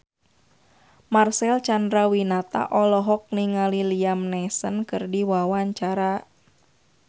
Marcel Chandrawinata olohok ningali Liam Neeson keur diwawancara